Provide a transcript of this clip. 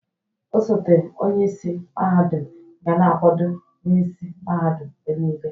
Ọsote onyeisi mahadum ga na-akwado onye isi mahadum mgbe niile.